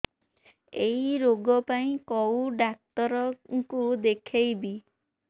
ଏଇ ରୋଗ ପାଇଁ କଉ ଡ଼ାକ୍ତର ଙ୍କୁ ଦେଖେଇବି